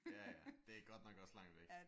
Ja ja det er godt nok også langt væk